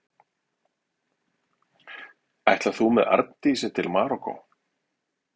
Ætlar þú með Arndísi til Marokkó?